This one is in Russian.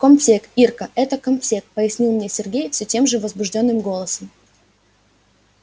комтек ирка это комтек пояснил мне сергей все тем же возбуждённым голосом